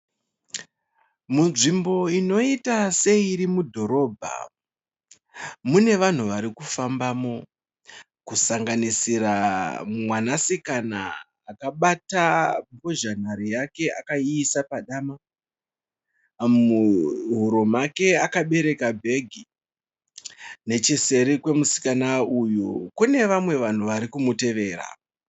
Munzvimbo inoita seiri mudhorobha. Mune vanhu varikufambamo kusanganisira mwanasikana akabata mbozha nhare yake akaisa padama, Muhuro make akabereka bhegi. Necheseri kwemusikana uyu kune vamwe vanhu varikumutevera.